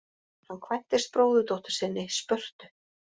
Hann kvæntist bróðurdóttur sinni, Spörtu.